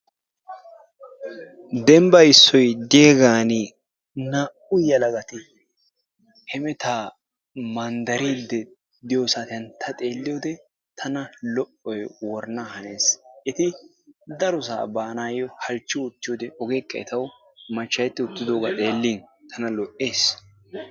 Dembba issoy diyaagan naa''u yelagati hemettaa manddaride diyo saatiyan ta xeeliyo wode tana lo''oy worana hannees. Eti darossa baanaw halchchi uttiyoode ogekka etaw machcha'eti uttiddogaa xelin tana lo''ees.